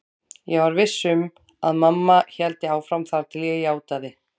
Ég var viss um að mamma héldi áfram þar til ég játaði.